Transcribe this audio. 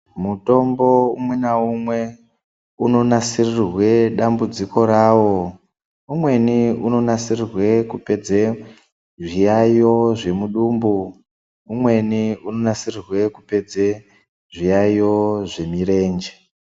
Mutombo umwe naumwe unonasirirwe dambudziko rawo umweni unonasirirwe kupedze zviyaiyo zvemudumbu umweni unonasirirwe kupedze zviyaiyo zvemurenje.